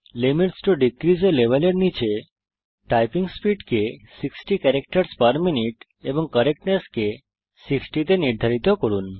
limits to decrease a level এর নীচে typing speed কে 60 ক্যারাক্টারসহ পের মিনিউট এবং কারেক্টনেস কে 60 তে নির্ধারিত করুন